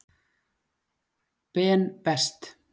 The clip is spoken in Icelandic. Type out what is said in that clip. Ben Best.